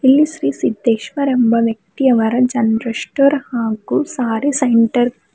ಈ ಶ್ರೀ ಸಿದ್ದೇಶ್ವರ್ ಎಂಬ ವ್ಯಕ್ತಿಯವರ ಜನರಲ್ ಸ್ಟೋರ್ ಹಾಗೂ ಸಾರಿ ಸೆಂಟರ್ .